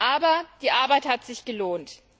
Aber die Arbeit hat sich gelohnt.